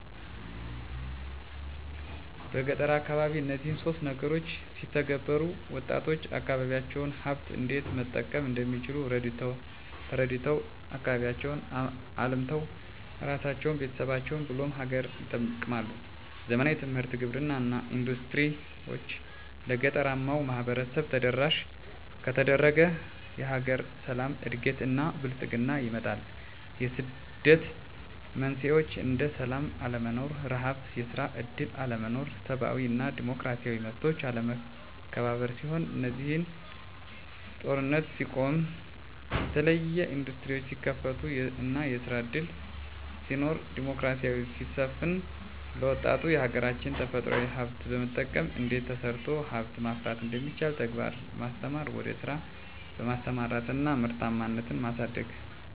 በገጠር አካባቢ እነዚህን ሶስት ነገሮች ቢተገበሩ -ወጣቶች የአካባቢዎቻቸውን ሀብት እንዴት መጠቀም እንደሚችል ተረድተው አካባቢያቸውን አልምተው እራሳቸውን፤ ቤተሰቦቻቸውን ብሎም ሀገርን ይጠቅማሉ። ዘመናዊ ትምህርት፤ ግብርና እና ኢንዱስትሪዎች ለገጠራማው ማህበረሰብ ተደራሽ ከተደረገ የሀገር ሰላም፤ እድገት እና ብልፅግና ይመጣል። የስደት መንስኤዎች እንደ ስላም አለመኖር፤ ርሀብ፤ የስራ እድል አለመኖር፤ ሰብአዊ እና ዲሞክራሲያዊ መብቶች አለመከበር ሲሆኑ -እነዚህ ችግሮች የሚፈቱት ሰላም ሲኖር ወይም ጦርነት ሲቆም፤ የተለያዬ እንዱስትሪዎች ሲከፈቱ እና ስራ እድል ሲኖር፤ ዲሞክራሲ ሲሰፍን፤ ለወጣቱ የሀገራች የተፈጥሮ ሀብት በመጠቀም እንዴት ተሰርቶ ሀብት ማፍራት እንደሚቻል በተግባር በማስተማር ወደ ስራ በማሰማራት እና ምርታማነትን ማሳደግ።